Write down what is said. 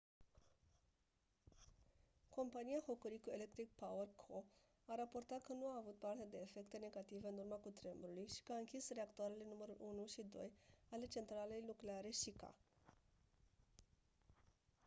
compania hokuriku electric power co a raportat că nu a avut parte de efecte negative în urma cutremurului și că a închis reactoarele numărul 1 și 2 ale centralei nucleare shika